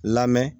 Lamɛn